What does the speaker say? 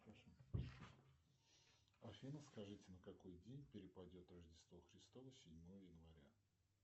афина скажите на какой день перепадет рождество христово седьмое января